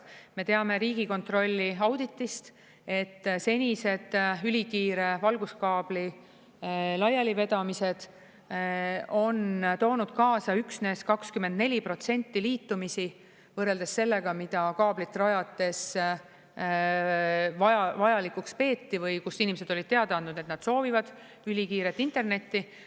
Me teame Riigikontrolli auditist, et senised ülikiire valguskaabli laialivedamised on toonud kaasa üksnes 24% liitumisi, võrreldes sellega, mida kaablit rajades vajalikuks peeti või kus inimesed olid teada andnud, et nad soovivad ülikiiret internetti.